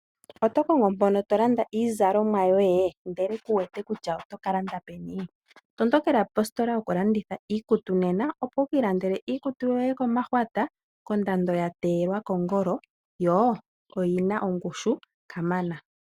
Otokongo mpono tolanda iizalomwa yoye? Ndele kuwete kutya otokalanda peni? Tondokela positola yokulanditha iikutu nena. Opo wukiilandele iikutu yoye komahwata, kondando yateelwa kongolo yo oyina ongushu kamana.